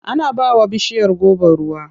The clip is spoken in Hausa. Ana ba wa bishiyar goba ruwa.